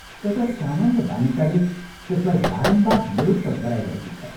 एउटा सामान्य बालिकाले त्यसलाई बारम्बार निरुत्तर गराइरहेकी छ।